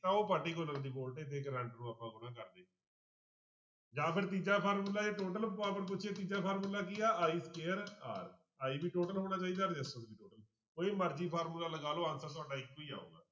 ਤਾਂ ਉਹ particular ਦੀ voltage ਤੇ ਕਰੰਟ ਨੂੰ ਆਪਾਂ ਗੁਣਾ ਕਰਦੇ ਜਾਂ ਫਿਰ ਤੀਜਾ ਫਾਰਮੁਲਾ ਇਹ total power ਪੁੱਛੀ ਆ ਤੀਜਾ ਫਾਰਮੁਲਾ ਕੀ ਆ i square r, i ਵੀ total ਹੋਣਾ ਚਾਹੀਦਾ resistance ਵੀ total ਕੋਈ ਮਰਜ਼ੀ ਫਾਰਮੁਲਾ ਲਗਾ ਲਓ answer ਤੁਹਾਡਾ ਇੱਕੋ ਹੀ ਆਊਗਾ।